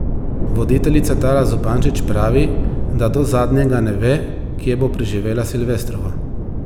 Voditeljica Tara Zupančič pravi, da do zadnjega ne ve, kje bo preživela silvestrovo.